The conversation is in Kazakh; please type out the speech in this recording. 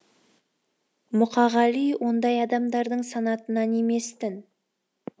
мұқағали ондай адамдардың санатынан емес тін